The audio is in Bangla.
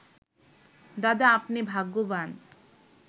'দাদা, আপনি ভাগ্যবান